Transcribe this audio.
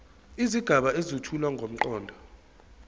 izigaba ezethula ngomqondo